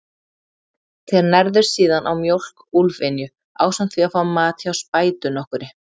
Þeir nærðust síðan á mjólk úlfynju, ásamt því að fá mat hjá spætu nokkurri.